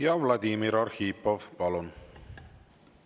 Ja Vladimir Arhipov, palun!